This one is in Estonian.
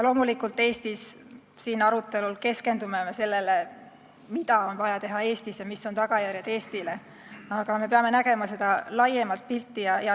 Loomulikult, me siin Eestis arutelul keskendume sellele, mida on vaja teha Eestis ja mis on tagajärjed Eestile, aga me peame nägema laiemat pilti.